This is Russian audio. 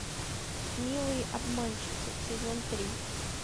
милые обманщицы сезон три